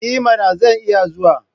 I mana! Zan iya zuwa.